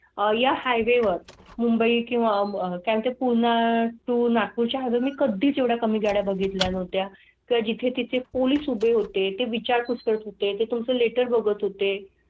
आया हायवेवर मुंबई किंवा मध्ये पुन्हा तून मी कधीच एवढा कमी गाडय़ा बघितल्या नव्हत्या. त्या जिथे तिथे पोलीस उभे होते ते विचारपूस करत होते. तुम चं लेटर बघत होते.